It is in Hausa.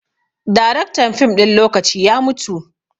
Daraktan fim ɗin lokaci ya mutu